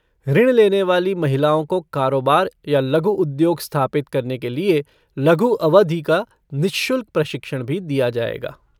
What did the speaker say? ऋण लेने वाली महिलाओं को कारोबार या लघु उद्योग स्थापित करने के लिए लघु अवधि का निश्शुल्क प्रशिक्षण भी दिया जाएगा।